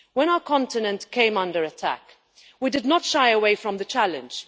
When our continent came under attack we did not shy away from the challenge.